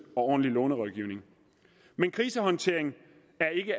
og ordentlig lånerådgivning men krisehåndtering